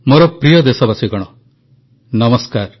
ମୋର ପ୍ରିୟ ଦେଶବାସୀଗଣ ନମସ୍କାର